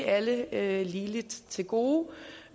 alle ligeligt til gode